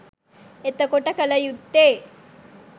එතකොට කළ යුත්තේ